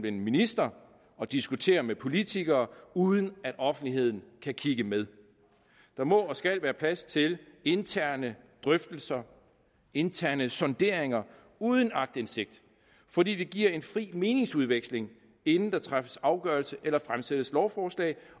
en minister at diskutere med politikere uden at offentligheden kan kigge med der må og skal være plads til interne drøftelser interne sonderinger uden aktindsigt for det giver en fri meningsudveksling inden der træffes afgørelse eller fremsættes lovforslag